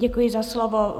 Děkuji za slovo.